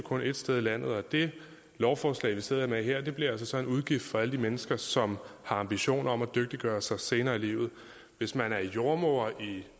ét sted i landet og det lovforslag vi sidder med her bliver altså så en udgift for alle de mennesker som har ambitioner om at dygtiggøre sig senere i livet hvis man er jordemoder i